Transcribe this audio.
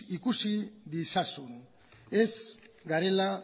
ikus dezazun ez garela